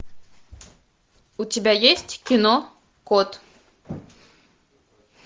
у тебя есть кино кот